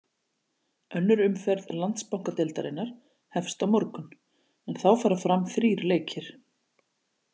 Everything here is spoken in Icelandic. Önnur umferð Landsbankadeildarinnar hefst á morgun en þá fara fram þrír leikir.